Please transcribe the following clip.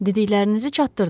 Dediklərinizi çatdırdım.